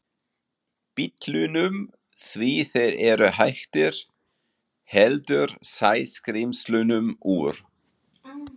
Bítlunum því þeir eru hættir, heldur Sæskrímslunum úr